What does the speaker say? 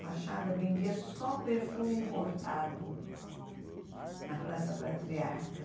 Fachada vendia só perfume importado na Praça Patriarca.